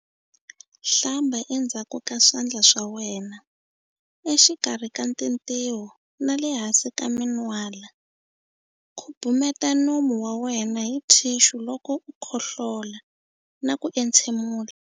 Hlamba endzhaku ka swandla swa wena, exikarhi ka tintiho na le hansi ka min'wala. Khubumeta nomu wa wena hi thixu loko u khohlola na ku entshemula.